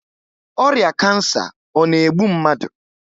Ọrịa kansa ọ na-egbu mmadụ?